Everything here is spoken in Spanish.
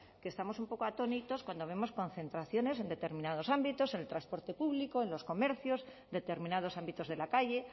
que estamos un poco atónitos cuando vemos concentraciones en determinados ámbitos en el transporte público en los comercios determinados ámbitos de la calle